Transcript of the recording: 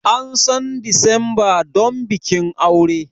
An san Disamba don bikin aure.